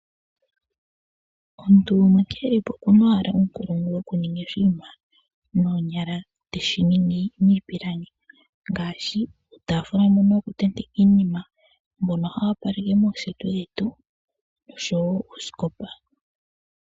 Omuntu gumwe nkene e li po oku na owala uunkulungu wokuninga oshinima noonyala dhe te shi ningi niipilangi ngaashi uutafula mboka wokutenteka iinima, mboka hawu opaleke mooseti dhetu noshowo uusikopa.